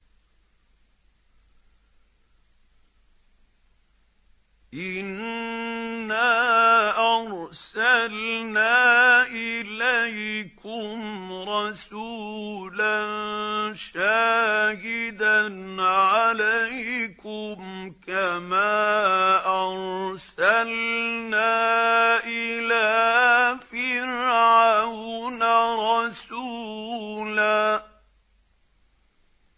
إِنَّا أَرْسَلْنَا إِلَيْكُمْ رَسُولًا شَاهِدًا عَلَيْكُمْ كَمَا أَرْسَلْنَا إِلَىٰ فِرْعَوْنَ رَسُولًا